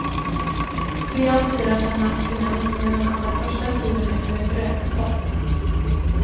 Tre av fyra känner abstinens under den allra första tiden efter ett rökstopp.